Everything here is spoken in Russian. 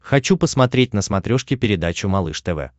хочу посмотреть на смотрешке передачу малыш тв